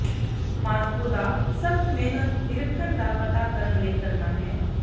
Moscow ਦਾ ਸਖਤ ਮਿਹਨਤ ਨਿਰੀਖਣ ਦਾ ਪਤਾ ਕਰਨ ਲਈ ਕਰਨਾ ਹੈ